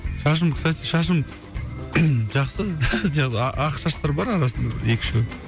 шашым кстати шашым жақсы ақ шаштар бар арасында екі үшеу